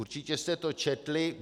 Určitě jste to četli.